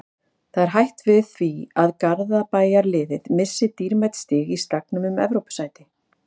Það er hætt við því að Garðabæjarliðið missi dýrmæt stig í slagnum um Evrópusæti.